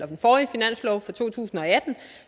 den forrige finanslov for to tusind og atten